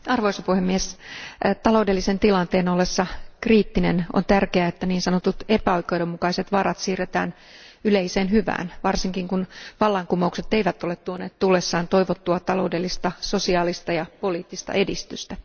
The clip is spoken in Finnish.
Arvoisa puhemies, taloudellisen tilanteen ollessa kriittinen on tärkeää, että niin sanotut epäoikeudenmukaiset varat siirretään yleiseen hyvään, varsinkin kun vallankumoukset eivät ole tuoneet tullessaan toivottua taloudellista, sosiaalista ja poliittista edistystä.